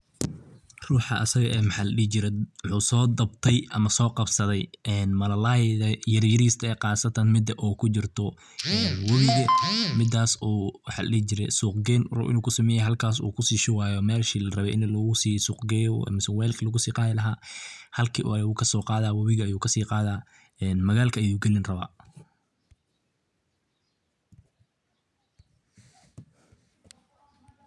Ruxaa asaga ah mxa ladihi jiraay mxu so dabtaay ama so qabsaday malalayga yaryarista eh qasataan mida o kujirta wabiga midas oo suq geyn u rabo inu kusumeyo halkas oou rabo inu kusumeyo halkas oo kushubayo meshi larabe ini lagu sii suq geyo mise waalki lagu si qadii lahaa, halki ayu kosoqadaya wabigi ayuu kasi qadayaa magalka ayu galin rabaa.